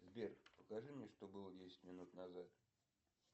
сбер покажи мне что было десять минут назад